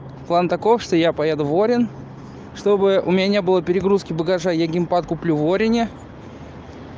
план таков что я поеду в орен чтобы у меня не было перегрузки багажа я геймпад куплю в орине